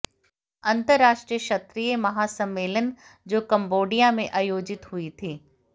अंतराष्ट्रीय क्षत्रिय महासम्मेलन जो कंबोडिया में आयोजित हुई थी